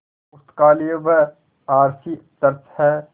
पुस्तकालय व R C church हैं